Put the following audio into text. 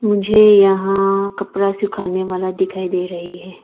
मुझे यहां कपड़ा सुखाने वाला दिखाई दे रही है।